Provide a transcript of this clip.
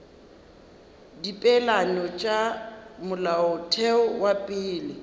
dipeelano tša molaotheo wa pele